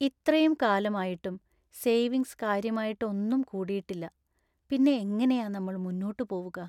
ഇത്രയും കാലം ആയിട്ടും സേവിങ്സ് കാര്യമായിട്ട് ഒന്നും കൂടിയിട്ടില്ല; പിന്നെ എങ്ങനെയാ നമ്മൾ മുന്നോട്ട് പോവുക?